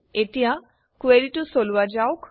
এতিয়া কুৱেৰিটো চলোৱা যাওক